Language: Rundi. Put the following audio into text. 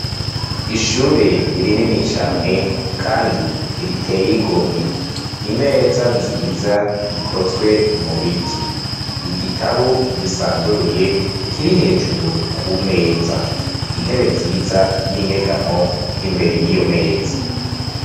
Ishure rinini cane Kandi riteye igomwe, imeza nziza ikozwe mubiti igitabo gisanzuruye kiri hejuru kumeza, intebe nziza yinyegamwo Imbere yiyo meza.